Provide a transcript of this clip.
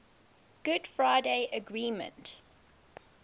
good friday agreement